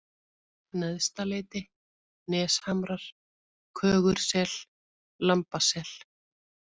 Neðstaleiti, Neshamrar, Kögursel, Lambasel